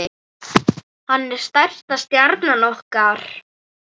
Hann er stærsta stjarna okkar.